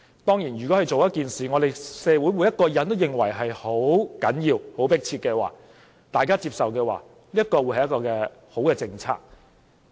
當然，如果政府做了一件事，是社會上每個人也認為十分重要、十分迫切而大家又接受的話，這便是好政策。